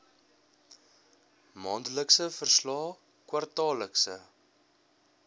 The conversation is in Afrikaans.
maandelikse verslae kwartaallikse